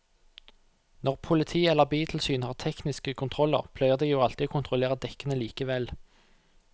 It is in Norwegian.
Når politiet eller biltilsynet har tekniske kontroller pleier de jo alltid å kontrollere dekkene likevel.